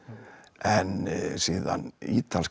en síðan ítalska